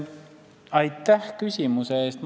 Aitäh küsimuse eest!